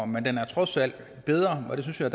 men den er trods alt bedre og det synes jeg